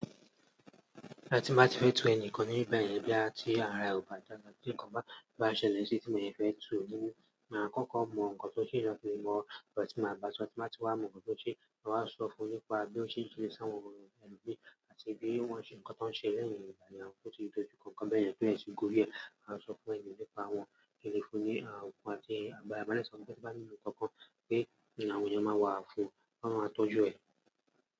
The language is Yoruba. Àti tí mo bá ti fẹ́ tu ẹni kan ni ìgbà mí bá yẹn bí à ti ara ọbà bále tí ǹkan bá ṣe léṣe tí mo yẹ fẹ́ tu, mo máa kọ́kọ́ mọ nǹkan tó ṣeé lọ́kùnrin mọ̀, kí ọmọ tí mo bá sọ, tí wọ́n sì máa mọ̀ nǹkan tó ṣeé, wọ́n á sọ fún mi nípa bí ó ṣe ń ṣe sáwọn ohun ìgbín àti bí wọ́n ṣe ǹkan tó ń ṣe lẹ́yìn ìgbà ní àwọn tó ti dojú kọ̀kan bẹ́ẹ̀ yẹn tí ó ń ṣe ikú bí ẹ. Wọ́n á sọ fún ẹni nípa àwọn ìlérí fún ní àwọn ohun tí ẹni àgbà bá ní ǹkan kan pé ìlànà òun máa wà fún, wọ́n máa tọ́jú ẹ.